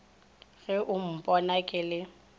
ge o mpona ke le